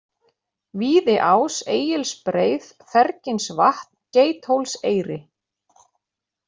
Víðiás, Egilsbreið, Ferginsvatn, Geithólseyri